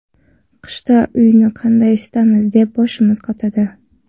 Qishda uyni qanday isitamiz deb boshimiz qotadi.